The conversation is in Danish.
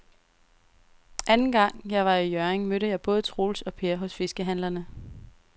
Anden gang jeg var i Hjørring, mødte jeg både Troels og Per hos fiskehandlerne.